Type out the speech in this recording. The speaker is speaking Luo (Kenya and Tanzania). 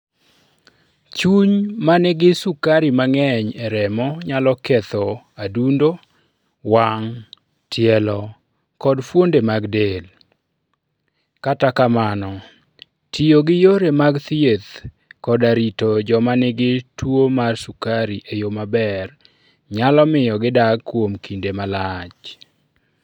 Chuny ma nigi sukari mang'eny e remo nyalo ketho adundo, wang', tielo, koda fuonde mag del. Kata kamano, tiyo gi yore mag thieth koda rito joma nigi tuwo mar sukari e yo maber, nyalo miyo gidag kuom kinde malach.